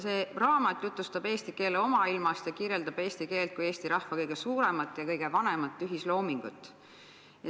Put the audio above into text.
See raamat jutustab eesti keele omailmast ja kirjeldab eesti keelt kui eesti rahva kõige suuremat ja kõige vanemat ühisloomingut.